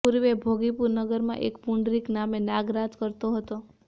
પૂર્વે ભોગીપુર નગરમાં એક પુંડરિક નામે નાગ રાજ કરતો હતો